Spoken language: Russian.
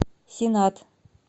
сенат